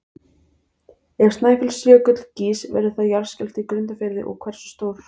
Ef Snæfellsjökull gýs verður þá jarðskjálfti í Grundarfirði og hversu stór?